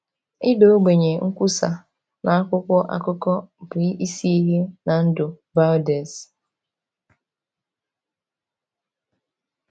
Ịda ogbenye, nkwusa, na akwụkwọ akụkọ bụ isi ihe na ndụ Vaudès.